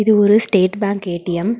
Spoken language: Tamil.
இது ஒரு ஸ்டேட் பேங்க் ஏ_டி_எம் .